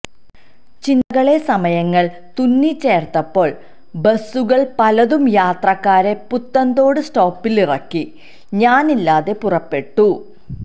ചിന്തകളെ സമയങ്ങൾ തുന്നിചേർത്തപ്പോൾ ബസ്സുകൾ പലതും യാത്രക്കാരെ പുത്തൻതോട് സ്റ്റോപ്പിലിറ ക്കി ഞാനില്ലാതെ പുറപ്പെട്ടു